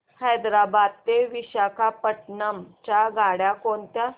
हैदराबाद ते विशाखापट्ण्णम च्या गाड्या कोणत्या